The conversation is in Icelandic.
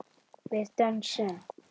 Við dönsum.